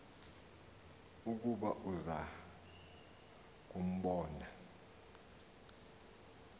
ukuba uza kumbona